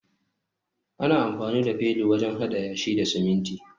ana amfani da felu wajen hada yashi da siminti